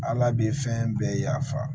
Ala bɛ fɛn bɛɛ ya fa